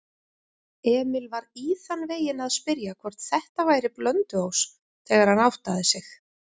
Emil var í þann veginn að spyrja hvort þetta væri Blönduós, þegar hann áttaði sig.